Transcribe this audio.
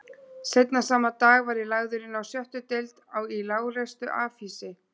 Seinna sama dag var ég lagður inná sjöttu deild í lágreistu afhýsi